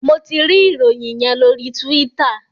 Mo tí rí Ìròyìn yén lori Twitter.